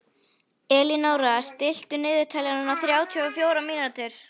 Elínóra, stilltu niðurteljara á þrjátíu og fjórar mínútur.